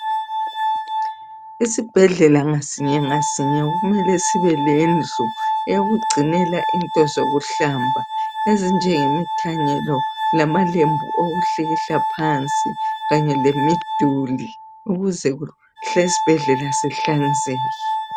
Isibhedlela ngasinye ngasinye kumele sibe lendlu eyokugcinela into zokuhlamba, ezinjengemithanyelo lamalembu okuhlikihla phansi kanye lemiduli ukuze kuhlale isibhedlela sihlanzekile.